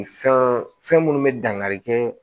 Fɛn fɛn minnu bɛ dankari kɛ